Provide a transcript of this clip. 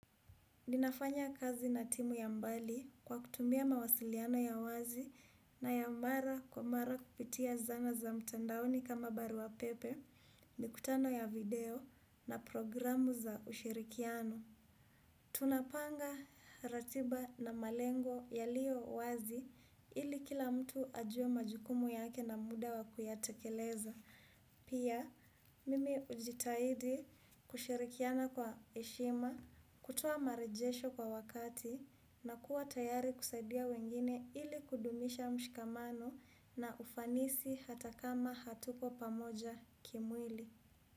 Ninafanya kazi na timu ya mbali kwa kutumia mawasiliano ya wazi na ya mara kwa mara kupitia zana za mtandaoni kama barua pepe, mikutano ya video na programu za ushirikiano. Tunapanga ratiba na malengo yaliyo wazi ili kila mtu ajuwe majukumu yake na muda wa kuyatekeleza. Pia mimi hujitahidi kushirikiana kwa heshima, kutoa marejesho kwa wakati na kuwa tayari kusaidia wengine ili kudumisha mshikamano na ufanisi hata kama hatuko pamoja kimwili.